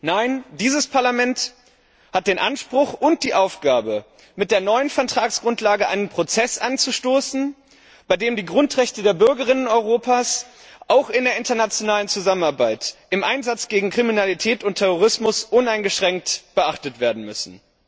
Nein, dieses Parlament hat den Anspruch und die Aufgabe, mit der neuen Vertragsgrundlage einen Prozess anzustoßen, bei dem die Grundrechte der Bürgerinnen und Bürger Europas auch in der internationalen Zusammenarbeit im Einsatz gegen Kriminalität und Terrorismus uneingeschränkt beachtet werden müssen.